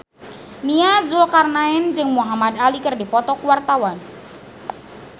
Nia Zulkarnaen jeung Muhamad Ali keur dipoto ku wartawan